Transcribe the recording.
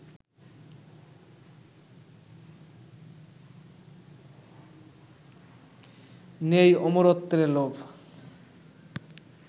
নেই অমরত্বের লোভ